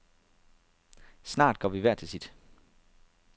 Snart går vi hver til sit.